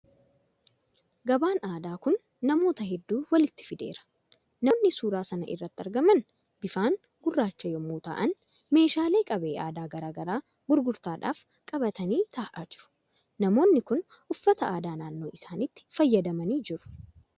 Gabaan aadaa kun namoota hedduu walitti fideera. Namoonni suura sana irratti argaman bifaan gurraacha yommuu ta'an meeshaalee qabee aadaa garagaraa gurgurtaadhaaf qabatanii taa'aa jiru. Namooni kun uffata aadaa naannoo isaaniitiin faayamanii jiru.